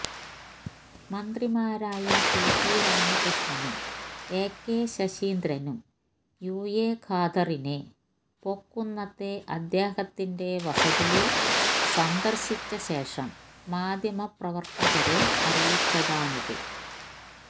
മന്ത്രിമാരായ T P രാമകൃഷ്ണനും A K ശശീന്ദ്രനും യുഎ ഖാദറിനെ പൊക്കുന്നത്തെ അദ്ദേഹത്തിന്റെ വസതിയിൽ സന്ദർശിച്ചശേഷം മാധ്യമപ്രവർത്തകരെ അറിയിച്ചതാണിത്